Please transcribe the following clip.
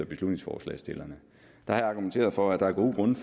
beslutningsforslagsstillerne der har jeg argumenteret for at der er gode grunde